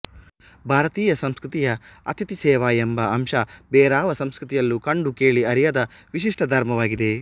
ಭಾರತೀಯ ಸಂಸ್ಕೃತಿಯ ಅತಿಥಿ ಸೇವಾ ಎಂಬ ಅಂಶ ಬೇರಾವ ಸಂಸ್ಕೃತಿಯಲ್ಲೂ ಕಂಡುಕೇಳಿ ಅರಿಯದ ವಿಶಿಷ್ಟಧರ್ಮವಾಗಿದೆ